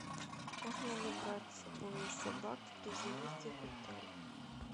можно ли брать с собой собак при заезде в отель